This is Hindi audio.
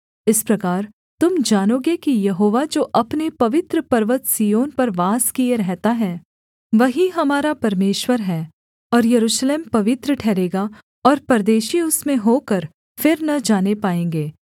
इस प्रकार तुम जानोगे कि यहोवा जो अपने पवित्र पर्वत सिय्योन पर वास किए रहता है वही हमारा परमेश्वर है और यरूशलेम पवित्र ठहरेगा और परदेशी उसमें होकर फिर न जाने पाएँगे